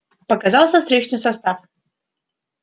показался встречный состав